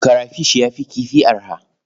Karafish ya fi kifi arha.